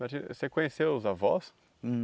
Norbertino você conheceu os avós? Hum